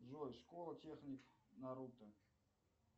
джой школа техник наруто